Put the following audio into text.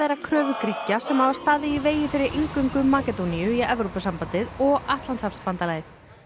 að kröfu Grikkja sem hafa staðið í vegi fyrir inngöngu Makedóníu í Evrópusambandið og Atlantshafsbandalagið